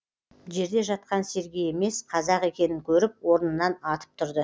жерде жатқан сергей емес қазақ екенін көріп орнынан атып тұрды